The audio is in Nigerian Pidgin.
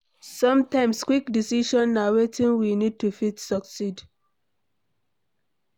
Sometimes quick decision na wetin we need to fit succeed